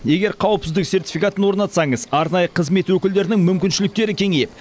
егер қауіпсіздік сертификатын орнатсаңыз арнайы қызмет өкілдерінің мүмкіншіліктері кеңейеді